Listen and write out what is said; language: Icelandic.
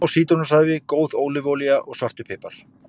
Smá sítrónusafi, góð ólífuolía og svartur pipar.